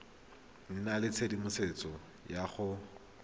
nna le tshedimosetso ya go